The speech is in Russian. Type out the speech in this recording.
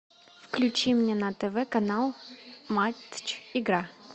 включи мне на тв канал матч игра